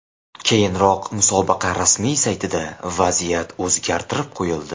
Keyinroq musobaqa rasmiy saytida vaziyat o‘zgartirib qo‘yildi.